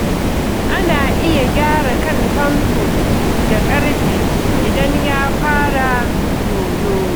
Ana iya gyara kan famfo da ƙarfe idan ya fara yoyo.